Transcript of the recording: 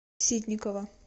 ситникова